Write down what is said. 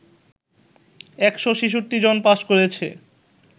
১৬৬ জন পাস করেছে